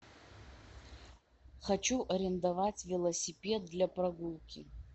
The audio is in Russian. хочу арендовать велосипед для прогулки